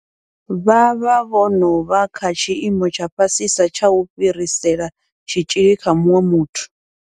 Vha vha vho no vha kha tshiimo tsha fhasisa tsha u fhirisela tshitzhili kha muṅwe muthu.